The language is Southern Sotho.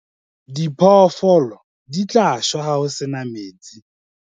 diphoofolo di tla shwa ha ho se na metsi